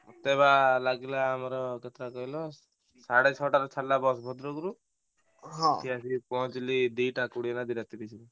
ମତେ ବା ଲାଗିଲା ଆମର କେତେଟା କହିଲ ସେଢେ ଛଟାରୁ ବାହାରିଲା ବସ ଭଦ୍ରକରୁ ଏଠି ଆସିକି ପହଞ୍ଚିଲି ଦିଟା କୋଡ଼ିଏ ନା ଦିଟା ତିରିସରେ।